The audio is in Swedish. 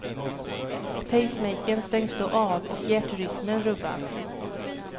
Pacemakern stängs då av och hjärtrytmen rubbas.